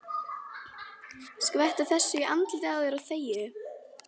Skvettu þessu í andlitið á þér og þegiðu.